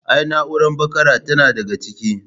Ai na'uran bakara tana daga ciki.